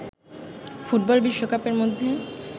football বিশ্বকাপের মধ্যে